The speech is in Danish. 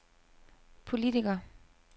politiker